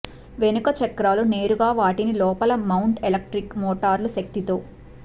వెనుక చక్రాలు నేరుగా వాటిని లోపల మౌంట్ ఎలక్ట్రిక్ మోటార్లు శక్తితో